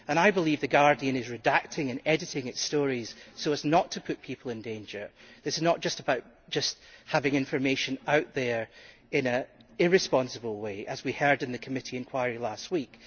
I believe that The Guardian is redacting and editing its stories so as not to put people in danger. This is not just about having information out there in an irresponsible way, as we heard in the committee inquiry last week